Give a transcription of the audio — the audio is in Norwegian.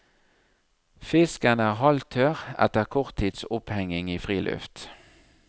Fisken er halvtørr etter kort tids opphengning i friluft.